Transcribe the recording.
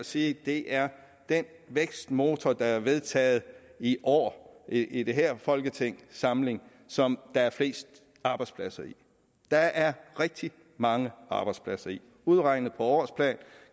at sige at det er den vækstmotor der er vedtaget i år i den her folketingssamling som der er flest arbejdspladser i der er rigtig mange arbejdspladser i det udregnet på årsplan